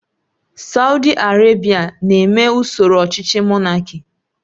Saudi Arabia na-eme usoro ọchịchị Monáki